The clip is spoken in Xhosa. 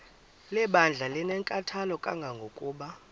lebandla linenkathalo kangangokuba